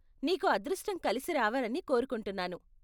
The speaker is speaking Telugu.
నీకు అదృష్టం కలిసి రావాలని కోరుకుంటున్నాను.